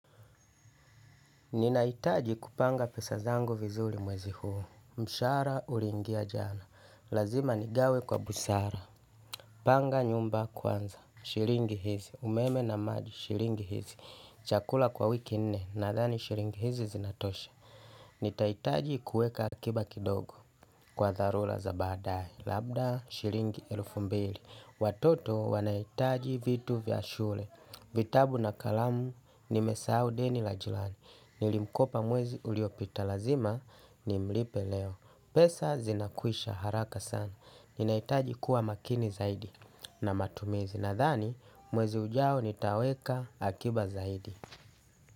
Ninahitaji kupanga pesa zangu vizuri mwezi huu. Mshahara uliingia jana. Lazima nigawe kwa busara. Panga nyumba kwanza. Shilingi hizi. Umeme na maji shilingi hizi. Chakula kwa wiki nne. Nadhani shilingi hizi zinatosha. Nitahitaji kuweka akiba kidogo. Kwa dharura za baadaye labda shilingi elfu mbili. Watoto wanahitaji vitu vya shule. Vitabu na kalamu. Nimesahau deni la jirani. Nilimkopa mwezi uliopita lazima nimlipe leo pesa zinakwisha haraka sana ninahitaji kuwa makini zaidi na matumizi nadhani mwezi ujao nitaweka akiba zaidi.